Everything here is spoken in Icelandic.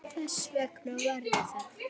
Þess vegna var ég þarna.